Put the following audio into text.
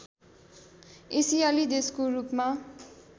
एसियाली देशको रूपमा